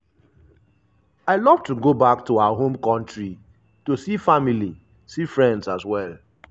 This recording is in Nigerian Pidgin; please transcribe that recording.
i love to go back to our home kontri to see family see friends as well.